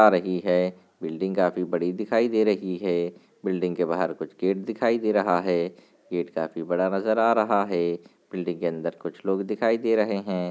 आ रही है बिल्डिंग काफी बड़ी दिखायी दे रही है। बिल्डिंग के बाहर कुछ गेट दिखायी दे रहा है। गेट काफी बड़ा नजर आ रहा है। बिल्डिंग के अन्दर कुछ लोग दिखायी दे रहे हैं।